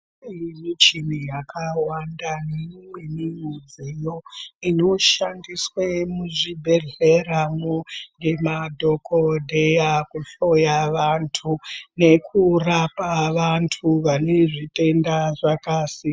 Iyi michini yakawanda neimweni mudziyo, inoshandiswe muzvibhedhleramwo ngemadhokodheya kuhloya vantu nekurapa vantu vane zvitenda zvakasi..